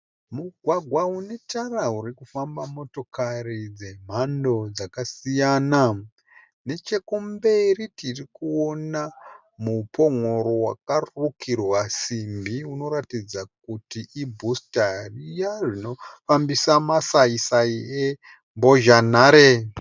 Mugwagwa unetara urikufamba motokari dzakasiyana, nechekumberi tirikuona mupongoro wakarukirwa simbi urikuratidza kuti ibhusita riya rinofambisa masayi sayi embozhanhare.